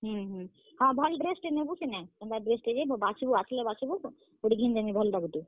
ହୁଁ ହୁଁ, ହଁ, ଭଲ୍ dress ଟେ ନେବୁ ସିନେ। କେନ୍ତା dress ଟେ ଯେ ବାଛବୁ, ଆସ୍ ଲେ ବାଛବୁ ତତେ ଘିନି ଦେମି ଭଲ୍ ଟା ଗୁଟେ।